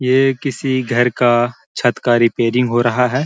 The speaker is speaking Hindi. ये किसी घर का छत का रिपेयरिंग ो रहा है--